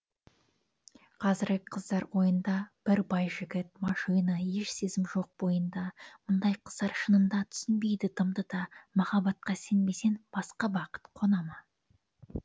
қазіргі қыздар ойында бір бай жігіт машина еш сезім жоқ бойында мұндай қыздар шынында түсінбейді дымды да махаббатқа сенбесең басқа бақыт қонама